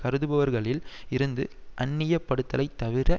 கருதுபவர்களில் இருந்து அந்நியப்படுதலை தவிர